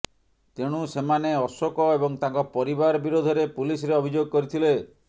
ତେଣୁ ସେମାନେ ଅଶୋକ ଏବଂ ତାଙ୍କ ପରିବାର ବିରୋଧରେ ପୁଲିସରେ ଅଭିଯୋଗ କରିଥିଲେ